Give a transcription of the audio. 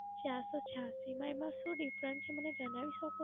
ચારસો છ્યાંસી અને એમાં શું Difference છે મને જણાવી શકો?